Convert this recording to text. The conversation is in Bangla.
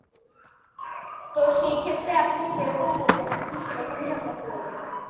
তো সেইক্ষেত্রে আপনি যেরকম বলবেন আপনি সেরকমই আমরা করা দেব।